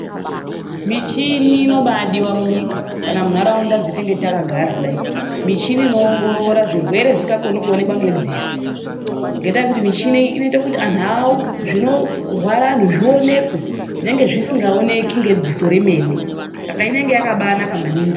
Michini inobaadiwa munyika kana munharaunda dzatinenge takagara kudayi. Michini inoongorora zvirwere zvisingakoni kuonekwa ngedziso ngendaa yekuti muchini iyi noita kuti zvinorwara antu zvionekwe zvinenge zvisingaonekwi nedziso remene. Saka inenge yakabaanaka maningi.